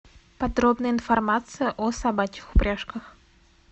подробная информация о собачьих упряжках